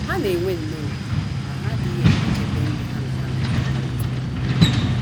Ha na - enwe nnọọ ohere ma ha adịghị enwekebe ndị ha na ha na - akpakọrịta. ”